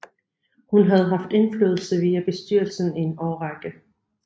Hun havde haft indflydelse via bestyrelsen i en årrække